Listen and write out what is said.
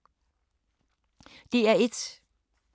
DR1